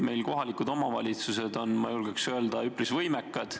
Ma julgeks öelda, et tegelikult on meie kohalikud omavalitsused üpris võimekad.